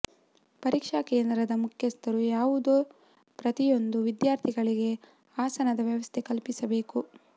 ಪರೀಕ್ಷಾ ಕೇಂದ್ರದ ಮುಖ್ಯಸ್ಥರು ಯಾವುದೇ ಪ್ರತಿಯೊಂದು ವಿದ್ಯಾರ್ಥಿಗಳಿಗೆ ಆಸನದ ವ್ಯವಸ್ಥೆ ಕಲ್ಪಿಸಬೇಕು